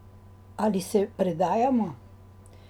Ali se predajamo?